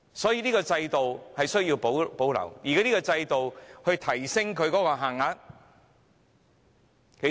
所以，這制度需要保留，而提升這制度的財務資格限額......